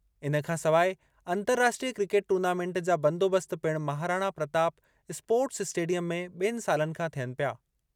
इन खां सवाइ अंतर्राष्ट्रीय क्रिकेट टूर्नामेंट जा बंदोबस्त पिणु महाराणा प्रताप स्पोर्ट्स स्टेडियम में ॿिनि सालनि खां थियनि पिया।